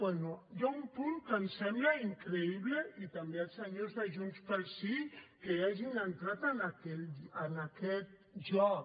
bé hi ha un punt que em sembla increïble i també els senyors de junts pel sí que hagin entrat en aquest joc